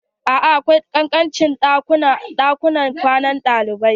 A'a akwai ƙanƙancin ɗakuna a ɗakunan kwanan ɗalibai.